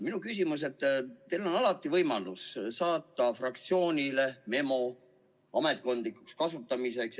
Minu küsimus on, et teil on alati võimalus saata fraktsioonile memo ametkondlikuks kasutamiseks.